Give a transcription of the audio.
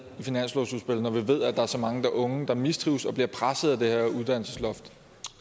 i finanslovsudspillet når vi ved at der er så mange unge der mistrives og bliver presset af det her uddannelsesloft